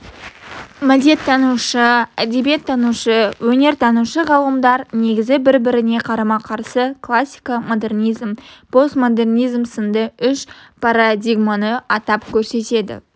мәдениеттанушы әдебиеттанушы өнертанушы ғалымдар негізгі бір-біріне қарама-қарсы классика-модернизм-постмодернизм сынды үш парадигманы атап көрсетеді